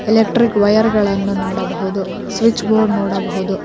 Electric wire ಗಳನ್ನ ನೋಡಬಹುದು switch board ನೋಡಬಹುದು.